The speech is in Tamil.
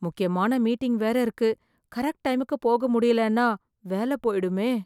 முக்கியமான மீட்டிங் வேற இருக்கு, கரெக்ட் டைமுக்கு போக முடியலேன்னா வேல போயிடுமே